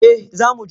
Eh zamu je.